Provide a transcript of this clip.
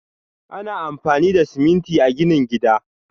Ana amfani da siminti a ginin gada.